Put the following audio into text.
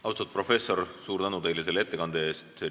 Austatud professor, suur tänu teile selle ettekande eest!